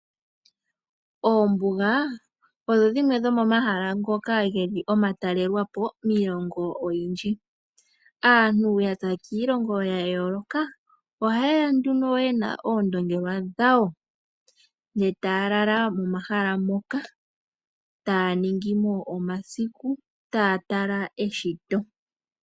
Oombuga odho dhimwe dho momahala ngono geli omatalelwapo miilongo oyindji. Aantu yaza kiilongo ya yooloka oha yeya nduno yena oondongelwa dhawo nge taya lala mo mahala moka taya ningimo omasiku taya tala eshito.